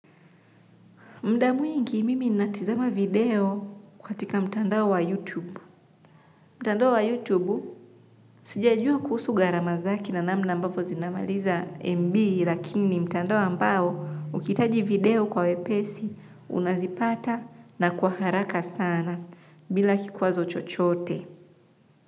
Mda mwingi mimi natizama video kwa tika mtandao wa YouTube. Mtandao wa YouTube sijajua kuhusu gharama zake na namna ambavo zinamaliza MB lakini mtandao ambao ukihitaji video kwa wepesi unazipata na kwa haraka sana bila kikwazo chochote.